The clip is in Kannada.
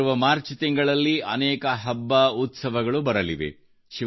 ಮುಂಬರುವ ಮಾರ್ಚ್ ತಿಂಗಳಿನಲ್ಲಿ ಅನೇಕ ಹಬ್ಬ ಉತ್ಸವಗಳು ಬರಲಿವೆ